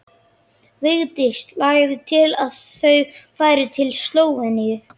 Vigdís lagði til að þau færu til Slóveníu.